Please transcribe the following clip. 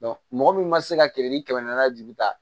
mɔgɔ min ma se ka kiliniki kɛmɛ naani ju ta